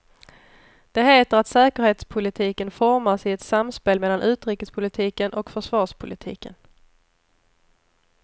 Det heter att säkerhetspolitiken formas i ett samspel mellan utrikespolitiken och försvarspolitiken.